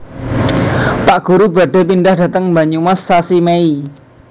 Pak guru badhe pindah dateng Banyumas sasi Mei